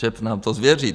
ČEPS nám to změří.